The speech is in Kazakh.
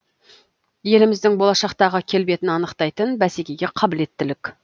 еліміздің болашақтағы келбетін анықтайтын бәсекеге қабілеттілік